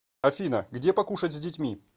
афина где покушать с детьми